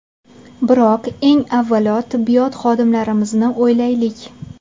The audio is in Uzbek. Biroq, eng avvalo, tibbiyot xodimlarimizni o‘ylaylik.